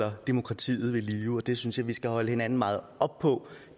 holder demokratiet i live det synes jeg vi skal holde hinanden meget op på